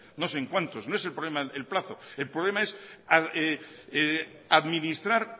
no sé en cuantos no es el problema el plazo el problema es administrar